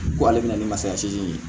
Ko ale bɛna ni masaya segi ye